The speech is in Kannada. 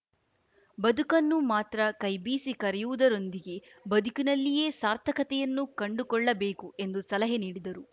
ಬದುಕನ್ನು ಮಾತ್ರ ಕೈಬೀಸಿ ಕರೆಯುವುದರೊಂದಿಗೆ ಬದುಕಿನಲ್ಲಿಯೇ ಸಾರ್ಥಕತೆಯನ್ನು ಕಂಡುಕೊಳ್ಳಬೇಕು ಎಂದು ಸಲಹೆ ನೀಡಿದರು